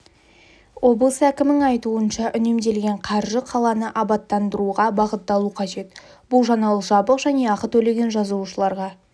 облыс әкімінің айтуынша үнемделген қаржы қаланы абаттандыруға бағытталу қажет бұл жаңалық жабық және ақы төлеген жазылушыларға